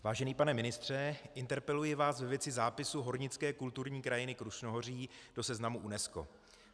Vážený pane ministře, interpeluji vás ve věci zápisu Hornické kulturní krajiny Krušnohoří do seznamu UNESCO.